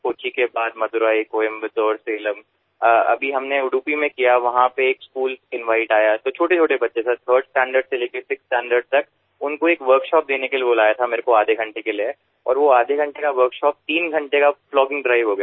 कोच्चि के बाद मदुरै कोयंबटूर सलेम अभी हमने उडुपी में किया वहाँ पे एक स्कूल इनवाइट आया तो छोटेछोटे बच्चे सर 3rd स्टैंडर्ड से लेकर 6th स्टैंडर्ड तक उनको एक वर्कशॉप देने के लिए बुलाया था मेरे को आधे घंटे के लिए और वो आधे घंटे का वर्कशॉप तीन घंटे का प्लॉगिंग ड्राइव हो गया